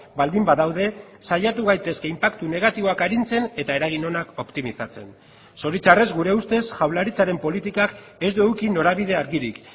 baldin badaude saiatu gaitezke inpaktu negatiboak arintzen eta eragin onak optimizatzen zoritxarrez gure ustez jaurlaritzaren politikak ez du eduki norabide argirik